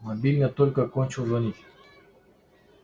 мобильный только кончил звонить